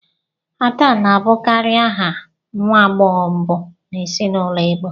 Ada na-abụkarị aha nwa agbọghọ mbụ n'ezinụlọ igbo